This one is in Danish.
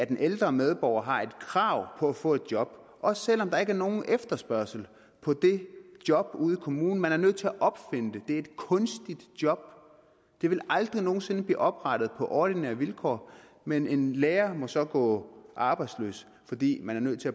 den ældre medborger har krav på at få et job også selv om der ikke er nogen efterspørgsel på det job ude i kommunen man er nødt til at opfinde det det er et kunstigt job det ville aldrig nogen sinde blive oprettet på ordinære vilkår men en lærer må så gå arbejdsløs fordi man er nødt til